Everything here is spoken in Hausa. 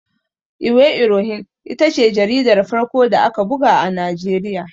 Iwe Irohin ita ce jaridar farko da aka buga a Najeriya.